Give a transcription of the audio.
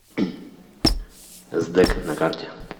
сдэк на карте